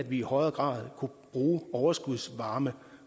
vi i højere grad kunne bruge overskudsvarme